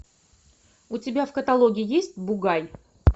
у тебя в каталоге есть бугай